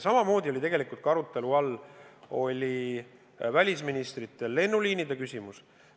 Samamoodi oli tegelikult välisministrite arutelu all lennuliinide küsimus.